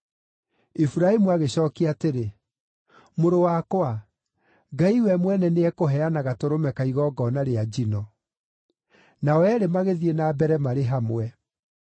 Iburahĩmu agĩcookia atĩrĩ, “Mũrũ wakwa, Ngai we mwene nĩekũheana gatũrũme ka igongona rĩa njino.” Nao eerĩ magĩthiĩ na mbere marĩ hamwe.